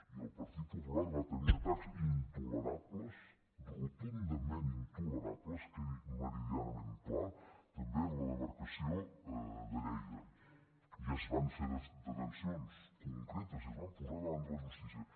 i el partit popular va tenir atacs intolerables rotundament intolerables quedi meridianament clar també en la demarcació de lleida i es van fer detencions concretes i es van posar davant de la justícia